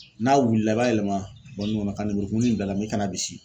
N'a wulila i b'a yɛlɛma kɔnɔ ka lemuru kumuni in bil'a la i kan'a bisi.